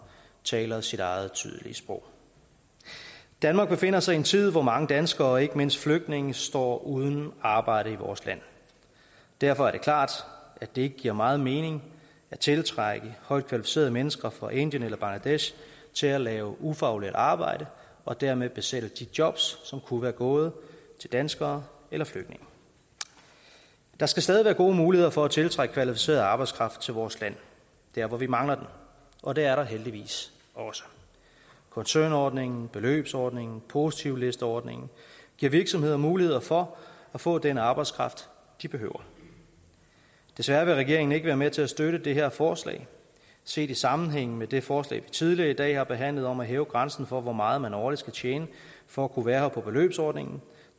taler sit eget tydelige sprog danmark befinder sig i en tid hvor mange danskere og ikke mindst flygtninge står uden arbejde i vores land derfor er det klart at det ikke giver meget mening at tiltrække højtkvalificerede mennesker fra indien eller bangladesh til at lave ufaglært arbejde og dermed besætte de jobs som kunne være gået til danskere eller flygtninge der skal stadig være gode muligheder for at tiltrække kvalificeret arbejdskraft til vores land der hvor vi mangler den og det er der heldigvis også koncernordningen beløbsordningen og positivlisteordningen giver virksomheder muligheder for at få den arbejdskraft de behøver desværre vil regeringen ikke være med til at støtte det her forslag set i sammenhæng med det forslag vi tidligere i dag har behandlet om at hæve grænsen for hvor meget man årligt skal tjene for at kunne være her på beløbsordningen